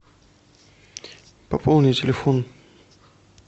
пополни телефон